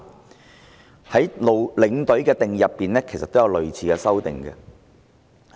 "陸議員對領隊的定義，亦作出類似的修訂。